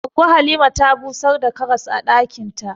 Goggo Halima ta busar da karas a ɗakin ta.